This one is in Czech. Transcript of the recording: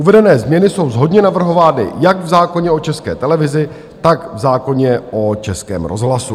Uvedené změny jsou shodně navrhovány jak v zákoně o České televizi, tak v zákoně o Českém rozhlasu.